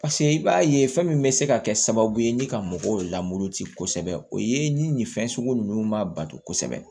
paseke i b'a ye fɛn min bɛ se ka kɛ sababu ye ni ka mɔgɔw lamur kosɛbɛ o ye ni nin fɛn sugu ninnu ma ban kosɛbɛ